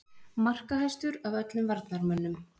Markahæstur af öllum varnarmönnum??